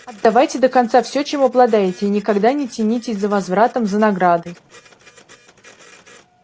отдавайте до конца все чем обладаете и никогда не тянитесь за возвратом за наградой